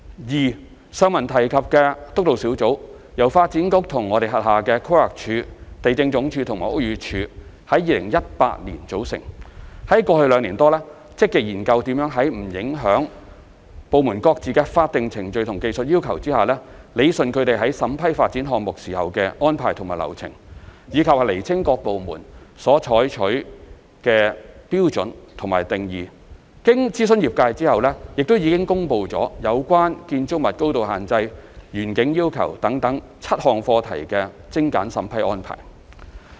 二上文提及的督導小組，由發展局規劃地政科與其轄下規劃署、地政總署和屋宇署在2018年組成，在過去兩年多積極研究如何在不影響部門各自的法定程序和技術要求下，理順他們在審批發展項目時的安排和流程，以及釐清各部門所採用的標準和定義；經諮詢業界後，已公布有關建築物高度限制、園景要求等7項課題的精簡審批安排。